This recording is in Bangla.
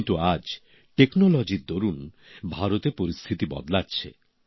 কিন্তু আজ প্রযুক্তির দরুন ভারতে পরিস্থিতি বদলাচ্ছে